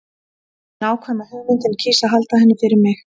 Ég hef nákvæma hugmynd en kýs að halda henni fyrir mig.